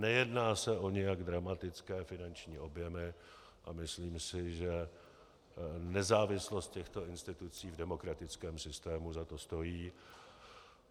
Nejedná se o nijak dramatické finanční objemy a myslím si, že nezávislost těchto institucí v demokratickém systému za to stojí.